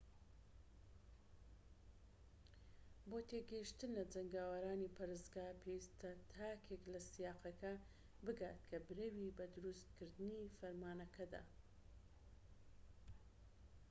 بۆ تێگەیشتن لە جەنگاوەرانی پەرستگا پێویستە تاکێک لە سیاقەکە بگات کە برەوی بە دروست کردنی فەرمانەکە دا